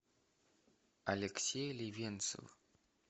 алексей левенцев